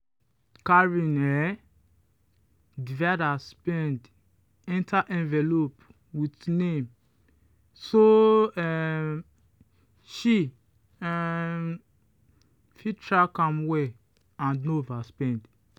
karen um divide her spend enter envelope with name so um she um fit track am well and no overspend.